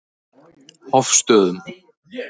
Hofstöðum